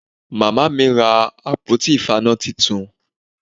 Màmá mi ra àpótí ìfaná titun